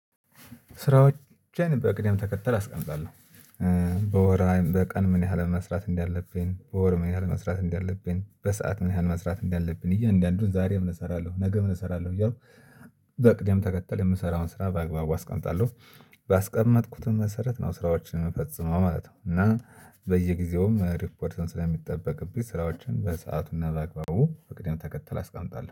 ስራዎችን በቅደም ተከተል አስቀምጣለሁ። በወር በቀን ምን ያህል መስራት እንዳለብኝ በወር መስራት እንዳለብኝ በሰአት መሃል መስራት እንዳለብን እያንዳንዱን ዛሬ ምን እሰራለሁ ነገ ምን እሰራለሁ እያልኩ በቅደም ተከተል የምሰራውን ስራ በአግባቡ አስቀምጣለሁ። ባስቀመጥኩትም መሰረት ነው ስራዎችን የምፈጽመው ማለት ነው። እና በየጊዜውም ሪፖርትን ስለሚጠበቅብኝ ስራዎችን በሰአቱና በአግባቡ በቅድም ተከተል አስቀምጣለሁ